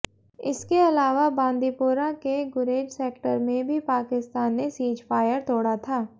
इसके अलावा बांदीपोरा के गुरेज सेक्टर में भी पाकिस्तान ने सीजफायर तोड़ा था